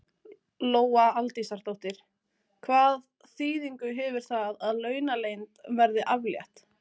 Lóa Aldísardóttir: Hvað þýðingu hefur það að launaleynd verði aflétt?